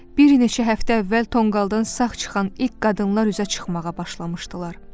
Bir neçə həftə əvvəl tonqaldan sağ çıxan ilk qadınlar üzə çıxmağa başlamışdılar.